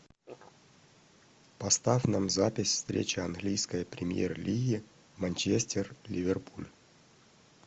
поставь нам запись встречи английской премьер лиги манчестер ливерпуль